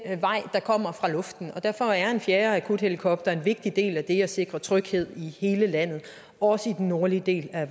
der kommer fra luften og derfor er en fjerde akuthelikopter en vigtig del af det at sikre tryghed i hele landet også i den nordlige del af